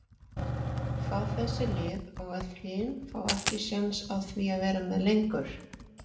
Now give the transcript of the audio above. fá þessi lið og öll hin fá ekki séns á því að vera með lengur?